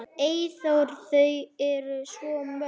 Eyþór: Þau eru svo mörg.